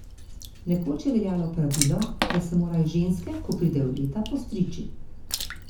Nekoč je veljalo pravilo, da se morajo ženske, ko pridejo v leta, postriči.